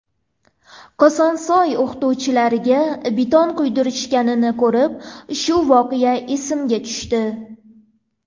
Kosonsoyda o‘qituvchilarga beton quydirishganini ko‘rib, shu voqea esimga tushdi.